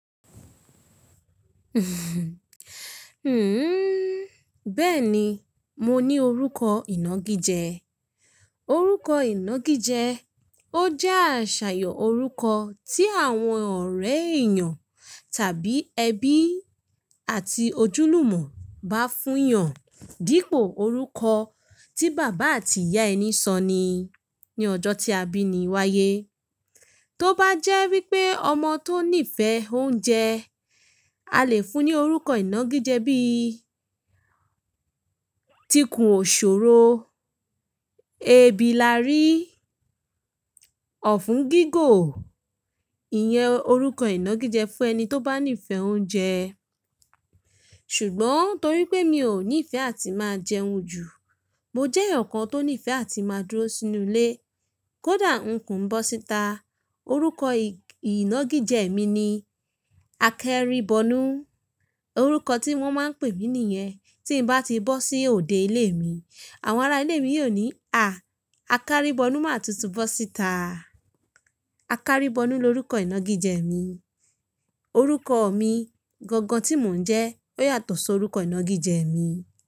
Huh hun bẹ́ẹ̀ni mo ní orúkọ iyangije. Orúkọ ìnagijẹ ó jẹ́ àṣàyàn orúkọ tí àwọn ọ̀rẹ́ èèyàn tàbí ẹbí àti ojúlùmọ̀ bá fún èèyàn dípò orúkọ tí bàbá àti ìyá ẹni sọ ni ní ọjọ́ tí a bí ni wáyé. Tó bá jẹ́ wípé ọmọ tó nífẹ̀ẹ́ oúnjẹ, a lè fún un ní orúkọ ìnagijẹ bíi Tikùnòṣòro, Ebilárí, Ọ̀fùnígígò, ìyẹn orúkọ ìnagijẹ fún ẹni tó bá nífẹ̀ẹ́ oúnjẹ. Ṣùgbọ́n torí pé mi ò nífẹ̀ẹ́ àti máa jẹun jù, mo jẹ́ èèyàn kan tó nífẹ̀ẹ́ àti máa dúró sínú ilé, kódà nku ń bọ́ síta. Orúkọ ì-ìnagijẹ mi ni Akéribọnú. Orúkọ tí wọ́n máa ń pè mí nìyẹn. Tí n bá ti bọ́ sí òde ilé mi, àwọn ará ilé mi yóò ní, "À! Akéribọnú máa tún ti bọ́ síta." Akéribọnú ni orúkọ ìnagijẹ mi. Orúkọ mi gangan tí mò ń jẹ́ ó yàtọ̀ sí orúkọ ìnagijẹ mi.